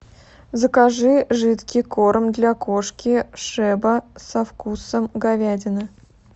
закажи жидкий корм для кошки шеба со вкусом говядины